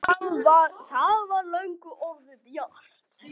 Það var löngu orðið bjart.